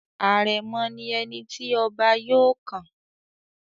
Àrẹ̀mọ̀ ni ẹni tí ọba yóò kàn.